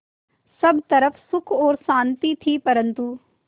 सब तरफ़ सुख और शांति थी परन्तु